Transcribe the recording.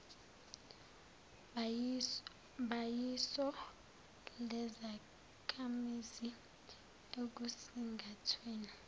bayiso lezakhamizi ekusingathweni